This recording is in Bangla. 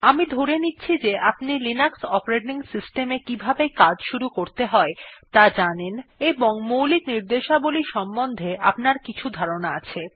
আমি ধরে নিচ্ছি যে আপনি লিনাক্স অপারেটিং কিভাবে কাজ শুরু করতে হয় ত়া জানেন এবং মৌলিক র্নিদেশাবলী সম্বন্ধে আপনার কিছু ধারনার আছে